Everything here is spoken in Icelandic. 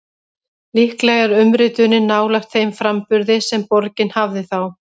Líklega er umritunin nálægt þeim framburði sem borgin hafði þá.